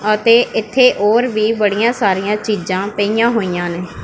ਅਤੇ ਇੱਥੇ ਹੋਰ ਵੀ ਬੜੀਆਂ ਸਾਰੀਆਂ ਚੀਜਾਂ ਪਈਆਂ ਹੋਈਆਂ ਹਨ।